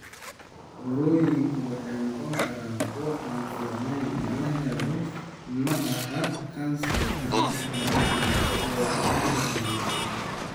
Burooyinku waxay noqon karaan kuwo aan fiicneyn, micnahooda ma aha kansar, ama malignant, oo macnaheedu yahay kansar.